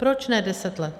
Proč ne deset let?